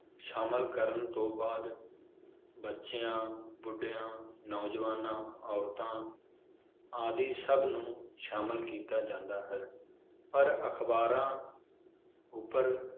ਸ਼ਾਮਿਲ ਕਰਨ ਤੋਂ ਬਾਅਦ ਬੱਚਿਆਂ, ਬੁਢਿਆਂ, ਨੌਜਵਾਨਾਂ, ਔਰਤਾਂ ਆਦਿ ਸਬ ਨੂੰ ਸ਼ਾਮਿਲ ਕੀਤਾ ਜਾਂਦਾ ਹੈ ਪਰ ਅਖਬਾਰਾਂ ਉਪਰ